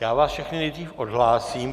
Já vás všechny nejdřív odhlásím.